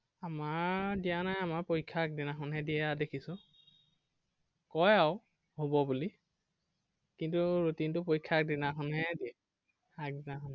আমাৰ দিয়া নাই আমাৰ পৰীক্ষাৰ আগদিনাখনহে দিয়া দেখিছো। কয় আৰু, হ'ব বুলি। কিন্তু routine তো পৰীক্ষাৰ আগদিনাখন হে দিয়ে। আগদিনাখন